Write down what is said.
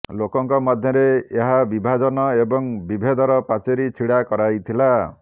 ଲୋକଙ୍କ ମଧ୍ୟରେ ଏହା ବିଭାଜନ ଏବଂ ବିଭେଦର ପାଚେରି ଛିଡ଼ା କରାଇଥିଲା